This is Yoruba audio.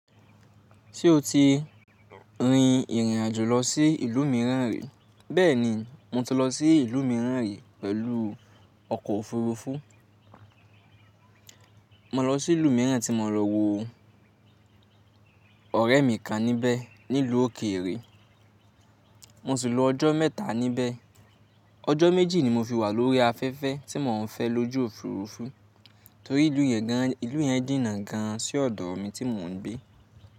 Ṣé o ti rin ìrìn àjò lọ sí ìlú mìíràn rí? Bẹ́ẹ̀ni, mo ti lọ sí ìlú mìíràn rí pẹ̀lú ọkọ̀ òfuurufú. Mo lọ sí ìlú mìíràn tí mo lọwó. Ọ̀rẹ́ mi kan níbẹ̀ nílùú òkèèrè. Mo sì lo ọjọ́ mẹ́ta níbẹ̀. Ọjọ́ méjì ni mo fi wà lórí afẹ́fẹ́ tí mò ń fẹ́ lójú òfuurufú torí ìlú yẹn gan, ilu yen jìnà gan an sí ọ̀dọ̀ mi tí mò ń gbé.